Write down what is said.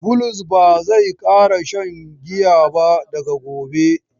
Bulus ba zai ƙara shan giya ba daga gobe.